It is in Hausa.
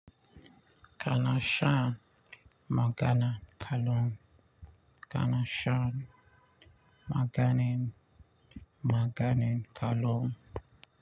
Kana shan magani kallum. Kana shan magani magani kullum.